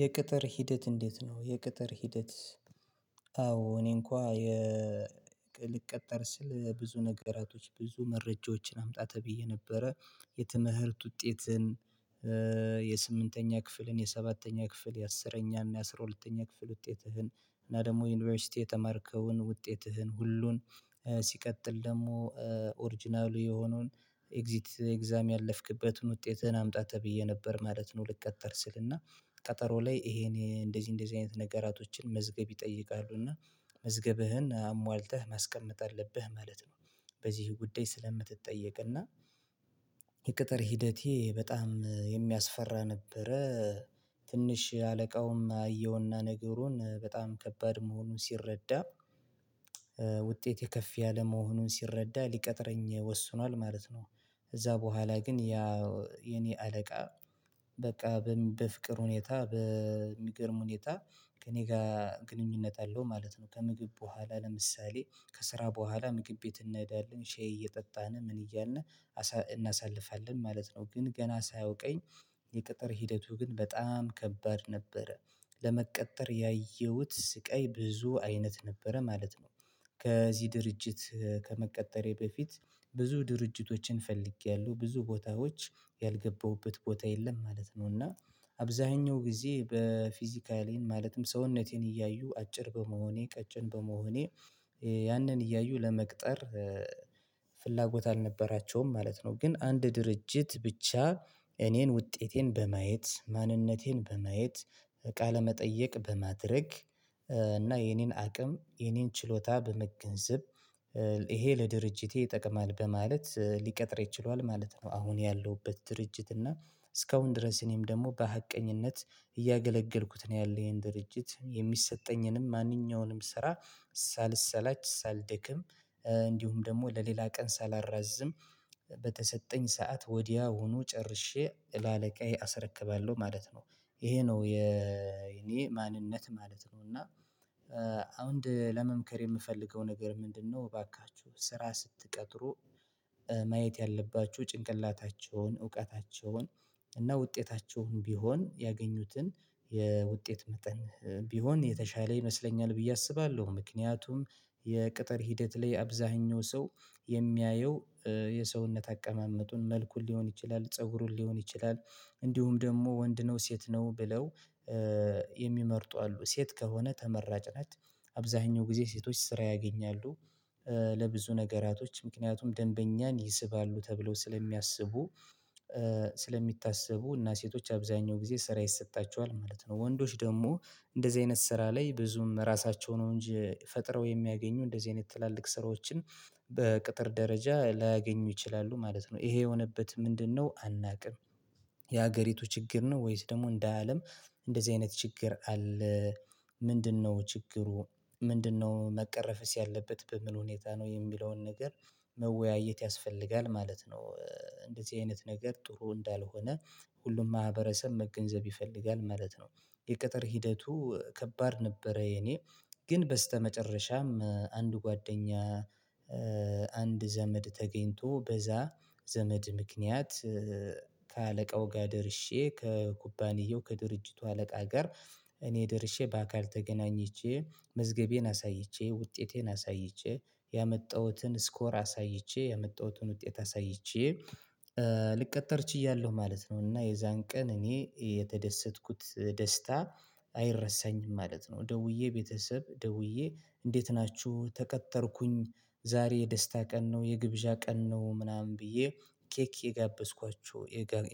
የቅጥር ሂደት እንዴት ነው? የቅጥር ሂደት። አዎ እኔ እንኳ የ ልቀጠር ስል ብዙ ነገራቶች ብዙ መረጃዎችን አምጣ ተብዬ ነበረ። የትምህርት ውጤትን የስምንተኛ ክፍልን የሰባተኛ ክፍል የአስረኛ እና የአስራ ሁለተኛ ክፍል ውጤትህን እና ደሞ የዩኒቨርሲቲ የተማርከውን ውጤትህን ሁሉን ሲቀጥል ደሞ ኦሪጅናል የሆነውን ኤግዚት ኤግዛም ያለፍክበትን ውጤትህን አምጣ ተብዬ ነበር ማለት ነው። ልቀጠር ስል እና ቀጠሮ ላይ ኢሄን እንደዚ እንደዚ አይነት ነገራቶችን መዝገብ ይጠይቃሉ እና መዝገብህን አሟልተህ ማስቀመጥ አለብህ ማለት ነው። በዚህ ጉዳይ ስለምትጠየቅ እና የቅጥር ሂደቴ በጣም የሚያስፈራ ነበረ። ትንሽ አለቃውም አየውና ነገሩን በጣም ከባድ መሆኑን ሲረዳ ውጤቴ ከፍ ያለ መሆኑን ሲረዳ ሊቀጥረኝ ወስኗል ማለት ነው። እዛ በኋላ ግን ያ የኔ አለቃ በቃ በፍቅር ሁኔታ በሚገርም ሁኔታ ከእኔ ጋ ግንኙነት አለው ማለት ነው። ከምግብ በኋላ ለምሳሌ ከስራ በኋላ ምግብ ቤት እኔዳለን ሸይ እየጠጣን ምን እያልን እናሳልፋለን ማለት ነው። ግን ገና ሳያውቀኝ የቅጥር ሂደቱ ግን በጣም ከባድ ነበረ። ለመቀጠር ያየውት ስቃይ ብዙ አይነት ነበረ ማለት ነው። ከዚ ድርጅት ከመቀጠሬ በፊት ብዙ ድርጅቶችን ፈልጊያለው ብዙ ቦታዎች ያልገባሁበት ቦታ የለም ማለት ነው። እና አብዘሀኛው ግዜ በፊዚካሌን ማለትም ሰውነቴን እያዩ አጭር በመሆኔ ቀጭን በመሆኔ ያንን እያዩ ለመቅጠር ፍላጎት አልነበራቸውም ማለት ነው። ግን አንድ ድርጅት ብቻ እኔን ውጤቴን በማየት ማንነቴን በማየት ቃለመጠይቅ በማድረግ እና የኔን አቅም የኔን ችሎታ በመገንዘብ ይሄ ለድርጅቴ ይጠቅማል በማለት ሊቀጥረኝ ችሏል ማለት ነው። አሁን ያለውበት ድርጅት እና እስካሁን ድረስ እኔም ደሞ በሀቀኝነት እያገለገልኩት ነው። ያለው ያን ድርጅት የሚሰጠኝንም ማንኛውንም ስራ ሳልሰላች ሳልደክም እንዲሁም ደሞ ለሌላ ቀን ሳላራዝም በተሰጠኝ ሰዓት ወዲያውኑ ጨርሼ ለአለቃዬ አስረክባለው ማለት ነው። ይሄ ነው የኔ ማንነት ማለት ነው። እና ለመምከር የምፈልገው ነገር ምንድነው? እባካቹ ስራ ስትቀጥሩ ማየት ያለባቹ ጭንቅላታቸውን እውቀታቸውን እና ውጤታቸውን ቢሆን ያገኙትን የውጤት መጠን ቢሆን የተሻለ ይመስለኛል ብዬ አስባለው። ምክንያቱም የቅጥር ሂደት ላይ አብዘሀኛው ሰው የሚያየው የሰውነት አቀማመጡን መልኩን ሊሆን ይችላል ፀጉሩን ሊሆን ይችላል። እንዲሁም ደሞ ወንድ ነው ሴት ነው ብለው የሚመርጡ አሉ ሴት ከሆነ ተመራጭ ናት። አብዘሀኛው ግዜ ሴቶች ስራ ያገኛሉ። ለብዙ ነገራቶች ምክንያቱም ደንበኛን ይስባሉ ተብለው ስለሚያስቡ ስለሚታሰቡ እና ሴቶች አብዛኛው ግዜ ስራ ይሰጣቸዋል ማለት ነው። ወንዶች ደሞ እንደዚ አይነት ስራ ላይ ብዙም ራሳቸው ነው እንጂ ፈጥረው የሚያገኙ እንደዚ አይነት ትላልቅ ስራዎችን በቅጥር ደረጃ ላያገኙ ይችላሉ ማለት ነው። ይሄ የሆነበት ምንድነው? አናቅም ያገሪቱ ችግር ነው። ወይስ ደሞ እንደአለም እንደዚ አይነት ችግር አለ። ምንድነው ችግሩ? ምንድነው መቀረፍስ ያለበት በምን ሁኔታ ነው? የሚለውን ነገር መወያየት ያስፈልጋል ማለት ነው። እንደዚ አይነት ነገር ጥሩ እንዳልሆነ ሁሉም ማህበረሰብ መገንዘብ ይፈልጋል ማለት ነው። የቅጥር ሂደቱ ከባድ ነበረ የኔ ግን በስተመጨረሻም አንድ ጓደኛ። አንድ ዘመድ ተገኝቶ በዛ ዘመድ ምክንያት ከአለቃው ጋ ደርሼ ከኩባንያው ከድርጅቱ አለቃ ጋር እኔ ደርሼ በአካል ተገናኝቼ መዝገቤን አሳይቼ ውጤቴን አሳይቼ ያመጣውትን ስኮር አሳይቼ ያመጣውትን ውጤት አሳይቼ ልቀጥር ችያለው ማለት ነው። እና የዛን ቀን እኔ የተደሰትኩት ደስታ አይረሳኝም ማለት ነው። ደውዬ ቤተሰብ ደውዬ እንዴት ናቹ ተቀጠርኩኝ ዛሬ የደስታ ቀን ነው። የግብዣ ቀን ነው። ምናምን ብዬ ኬክ የጋበዝኳቸው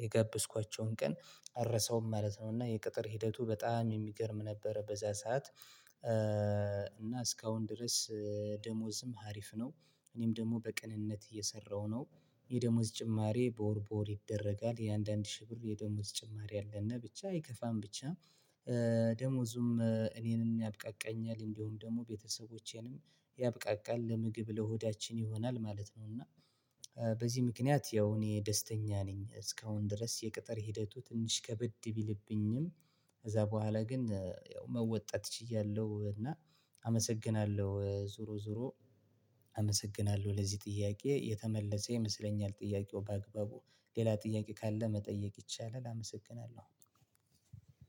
የጋበዝኳቸውን ቀን አረሳውም ማለት ነው። እና የቅጥር ሂደቱ በጣም የሚገርም ነበረ በዛ ሰዓት እና እስካሁን ድረስ ደሞዝም ሀሪፍ ነው። እኔም ደሞ በቅንነት እየሰራው ነው። የደሞዝ ጭማሪ በወር በወር ይደረጋል የአንዳንድ ሺ ብር የደሞዝ ጭማሪ አለና ብቻ አይከፋም ብቻ። ደሞዙም እኔንም ያብቃቃኛል እንዲውም ደሞ ቤተሰቦቼንም ያብቃቃል ለምግብ ለሆዳችን ይሆናል ማለት ነው። እና በዚ ምክንያት ያው እኔ ደስተኛ ነኝ እስካሁን ድረስ የቅጥር ሂደቱ ትንሽ ከበድ ቢልብኝም። ከዛ በኋላ ግን ያው መወጣት ችያለው እና አመሰግናለው። ዙሮ ዙሮ አመሰግናለው ለዚ ጥያቄ የተመለሰ ይመስለኛል። ጥያቄው በአግባቡ ሌላ ጥያቄ ካለ መጠየቅ ይቻላል። አመሰግናለው።